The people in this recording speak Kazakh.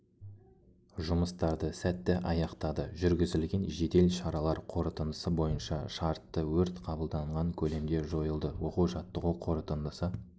жұмыстарды сәтті аяқтады жүргізілген жедел шаралар қорытындысы бойынша шартты өрт қабылданған көлемде жойылды оқу-жаттығу қорытындысы